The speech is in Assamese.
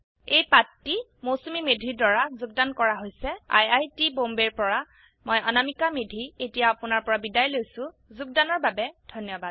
এই পাঠটি মৌচুমী মেধী দ্ৱাৰা যোগদান কৰা হৈছে আই আই টী বম্বেৰ পৰা মই অনামিকা মেধী এতিয়া আপুনাৰ পৰা বিদায় লৈছো যোগদানৰ বাবে ধন্যবাদ